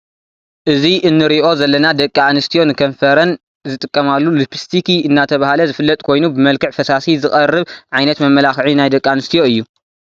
እዚ እንሪኦ ዘለና ደቂ አንስትዮ ንከንፈረን ዝጥቀማሉ ልፕስትኪ እናተባህለ ዝፍለጥ ኮይኑ ብመልክዕ ፈሳሲ ዝቀርብ ዓይነት መመላክዒ ናይ ደቂ አንስትዮ እዩ።